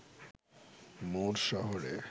মুর শহরে